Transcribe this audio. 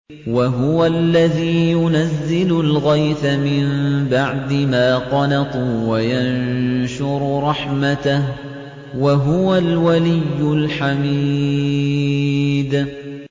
وَهُوَ الَّذِي يُنَزِّلُ الْغَيْثَ مِن بَعْدِ مَا قَنَطُوا وَيَنشُرُ رَحْمَتَهُ ۚ وَهُوَ الْوَلِيُّ الْحَمِيدُ